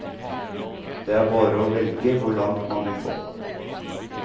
Det er bare å velge hvor langt man orker å gå.